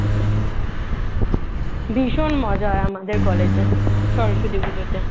ভীষণ মজা হয় আমাদের কলেজে সরস্বতী পুজোতে